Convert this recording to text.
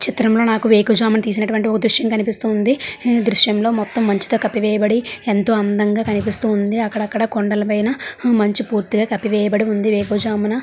ఈ చిత్రం లో నాకి వేకువజామున తీసినటువంటి ఒక దృశ్యం లా కనిపిస్తుంది. హమ్ దృశ్యం లో మొత్తం మంచుతో కప్పివేయబడి ఎంతో అందంగా కనిపిస్తూ ఉంది అక్కడక్కడా కొండల పైన మంచు పూర్తిగా కప్పివేయబడి ఉంది వేకువజామున.